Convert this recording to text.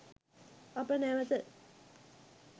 අප නැවත